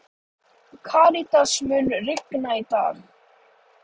Karítas, mun rigna í dag?